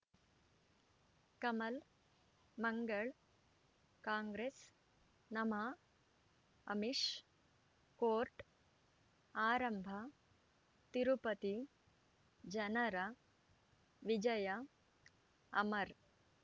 ಕಮಲ್ ಮಂಗಳ್ ಕಾಂಗ್ರೆಸ್ ನಮಃ ಅಮಿಷ್ ಕೋರ್ಟ್ ಆರಂಭ ತಿರುಪತಿ ಜನರ ವಿಜಯ ಅಮರ್